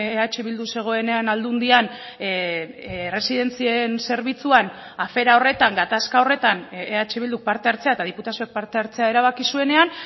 eh bildu zegoenean aldundian erresidentzien zerbitzuan afera horretan gatazka horretan eh bilduk parte hartzea eta diputazioak parte hartzea erabaki zuenean